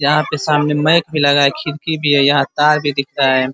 यहाँ पे सामने माइक भी लगा है खिरकी भी है यहाँ तार भी दिख रहा है।